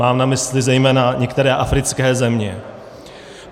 Mám na mysli zejména některé africké země.